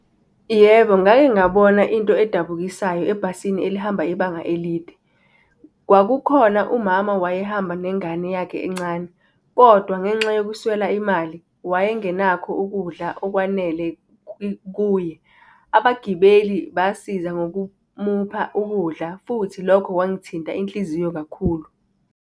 Yebo, ngake ngabona into edabukisayo ebhasini elihamba ibanga elide. Kwakukhona umama wayehamba nengane yakhe encane kodwa, ngenxa yokuswela imali, wayengenakho ukudla okwanele kuye. Abagibeli basiza ngokumupha ukudla futhi lokho kwangithinta inhliziyo kakhulu.